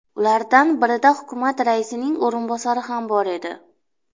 Ulardan birida hukumat raisining o‘rinbosari ham bor edi.